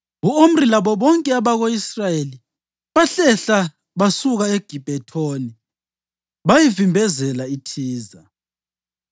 U-Omri labo bonke abako-Israyeli bahlehla basuka eGibhethoni bayavimbezela iThiza.